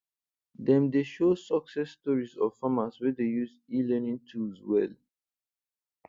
dem dey show success stories of farmers wey dey use elearning tools well